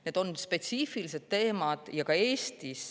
Need on spetsiifilised teemad.